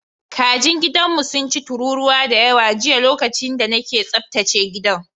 Kajin gidanmu sun ci tururuwa da yawa jiya lokacin da nake tsaftace gidan.